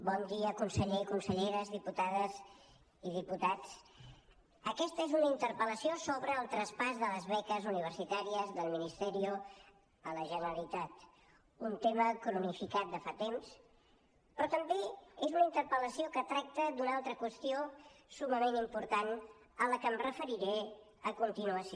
bon dia consellers i conselleres diputades i diputats aquesta és una interpel·lació sobre el traspàs de les beques universitàries del ministerio a la generalitat un tema cronificat de fa temps però també és una interpel·lació que tracta d’una altra qüestió summament important a la que em referiré a continuació